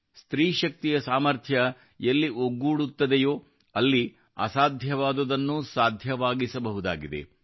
ಸ್ತ್ರೀಶಕ್ತಿಯ ಸಾಮರ್ಥ್ಯ ಎಲ್ಲಿ ಒಗ್ಗೂಡುತ್ತದೆಯೋ ಅಲ್ಲಿ ಅಸಾಧ್ಯವಾದುದನ್ನೂ ಸಾಧ್ಯವಾಗಿಸಬಹುದಾಗಿದೆ